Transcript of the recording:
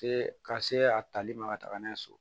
Se ka se a tali ma ka taga n'a ye so